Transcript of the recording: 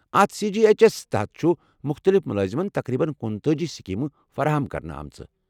اتھ C G H S تحت چھِ مُختٔلِف ملٲزِمَن تقریباً کنُتأج سکیمہٕ فراہم کرنہٕ آمٕژ